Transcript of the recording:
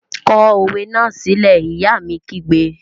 Kọ òwe náà sílẹ́! Ìyá mi kígbe!